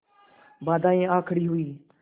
बाधाऍं आ खड़ी हुई